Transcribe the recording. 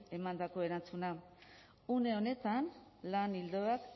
emandako erantzuna une honetan lan ildoak